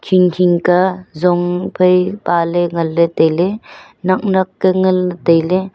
hing hing ka zong phe paley nganlay tailay nak nak ka nganlay tailay.